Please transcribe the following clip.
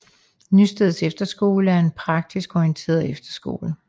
Nysted Efterskole er en praktisk orienteret efterskole